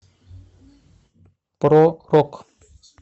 про рок